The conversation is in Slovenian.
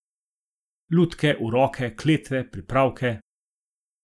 Lutke, uroke, kletve, pripravke.